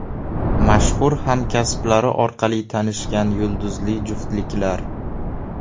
Mashhur hamkasblari orqali tanishgan yulduzli juftliklar .